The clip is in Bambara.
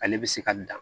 Ale bɛ se ka dan